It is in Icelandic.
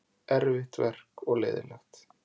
Erfitt verk og leiðinlegt.